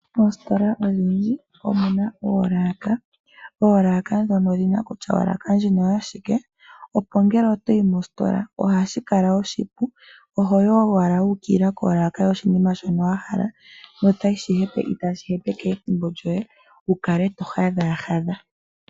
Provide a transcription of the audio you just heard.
Moositola oonene omuna oolaka. Oolaka ndhino oshina kutya odhina shika, opo ngele toyi mositola ohashi ku ningile oshipu okumona shoka wahala okulanda. Ohoyi owala wuukilila mpoka. Shika oshiwanawa molwaashoka ihashi manapo ethimbo lyoye okuhadhaahadha.